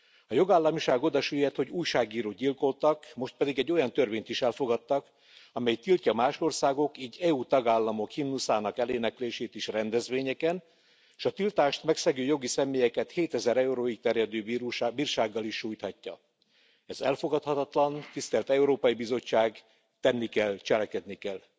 A jogállamiság oda süllyedt, hogy újságírót gyilkoltak, most pedig egy olyan törvényt is elfogadtak, amely tiltja más országok, így EU tagállamok himnuszának eléneklését is rendezvényeken, és a tiltást megszegő jogi személyeket 7000 euróig terjedő bírsággal is sújthatja. Ez elfogadhatatlan, tisztelt Európai Bizottság, tenni kell, cselekedni kell.